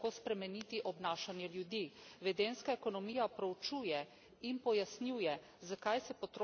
Vedenjska ekonomija proučuje in pojasnjuje, zakaj se potrošniki odločamo tako, kot se.